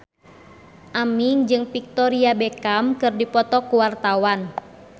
Aming jeung Victoria Beckham keur dipoto ku wartawan